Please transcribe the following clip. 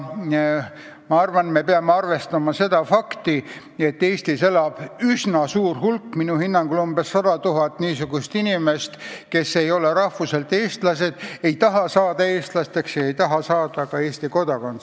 Me siiski peame arvestama seda fakti, et Eestis elab üsna suur hulk, minu hinnangul umbes 100 000 inimest, kes ei ole rahvuselt eestlased, ei taha saada eestlasteks ega taha saada ka Eesti kodanikeks.